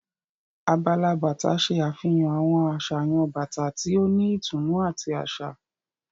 Abala bàtà ṣe àfihàn àwọn àsàyàn bàtà tí o ni ìtùnú àti aṣa.